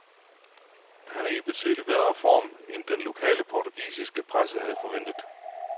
Han er i betydeligt bedre form, end den lokale portugisiske presse havde forventet.